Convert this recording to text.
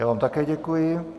Já vám také děkuji.